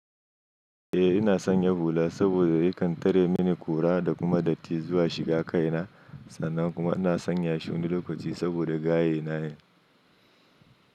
Eh ina sanya hula saboda yakan tare mini ƙura da kuma datti zuwa shiga kai na, sannan kuma ina son yashi wani lokaci saboda gayena ne.